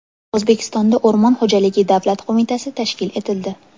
O‘zbekistonda O‘rmon xo‘jaligi davlat qo‘mitasi tashkil etildi.